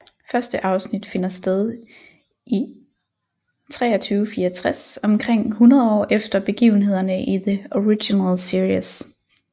Første afsnit finder sted i 2364 omkring hundrede år efter begivenhederne i The Original Series